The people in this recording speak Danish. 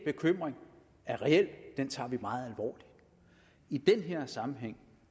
bekymring er reel den tager vi meget alvorligt i den her sammenhæng